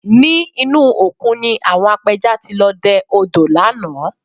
Ní inú òkun ni àwọn apẹja ti lọ dẹ odò lánàá